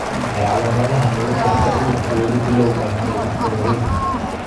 Waa maxay calamadaha iyo calaamadaha lagu garto cudurka weli bilawga ah ee dadka waaweyn?